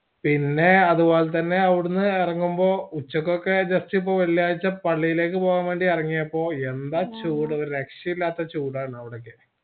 പിന്നേ അത് പോലെത്തന്നെ അവിടന്ന് എറങ്ങുമ്പോ ഉച്ചക്കൊക്കെ just ഇപ്പൊ വെള്ളിയാഴ്ച്ച പള്ളിയിലേക്ക് പോവാൻ വേണ്ടി ഇറങ്ങിയപ്പോ യെന്താചൂട് ല്ലേ ഒരു രക്ഷയു ഇല്ലാത്ത ചൂടാണ് അവടെയൊക്കെ